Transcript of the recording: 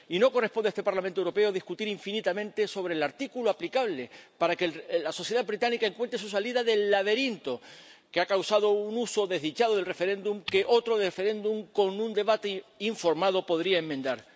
Y no corresponde a este Parlamento Europeo discutir infinitamente sobre el artículo aplicable para que la sociedad británica encuentre su salida del laberinto que ha causado un uso desdichado del referéndum, que otro referéndum con un debate informado podría enmendar.